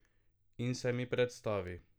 In se mi predstavi.